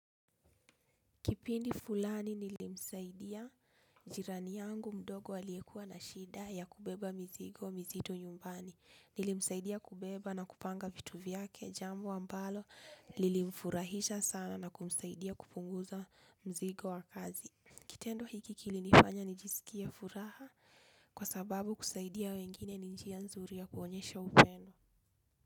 Kipindi fulani nilimsaidia jirani yangu mdogo aliyekuwa na shida ya kubeba mizigo mizito nyumbani. Nilimsaidia kubeba na kupanga vitu vyake, jambo ambalo lilimfurahisha sana na kumsaidia kupunguza mzigo wa kazi. Kitendo hiki kilinifanya nijisikie furaha kwa sababu kusaidia wengine ni njia nzuri ya kuonyesha upendo.